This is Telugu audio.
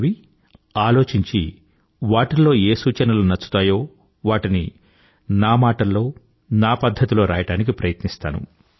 చదివి ఆలోచించి వాటిల్లో ఏ సూచనలు నచ్చుతాయో వాటిని నా మాటల్లో నా పధ్ధతిలో రాయడానికి ప్రయత్నిస్తాను